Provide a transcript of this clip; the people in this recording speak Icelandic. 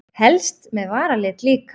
Helst með varalit líka.